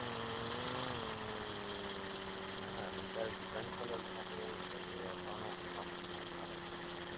હા નકર ઘણી college માં એવું જ છે કે ભણો કે ના ભણો કઈ ફરક ના પડે